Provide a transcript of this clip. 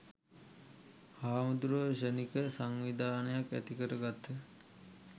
හාමුදුරුවෝ ක්ෂණික සංවිධානයක් ඇති කර ගත්හ.